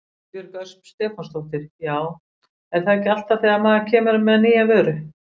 Ingibjörg Ösp Stefánsdóttir: Já er það ekki alltaf þegar maður kemur með nýja vöru?